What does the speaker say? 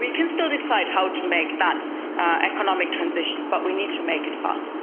We can still decide how to make that economic transition, but we need to make it fast.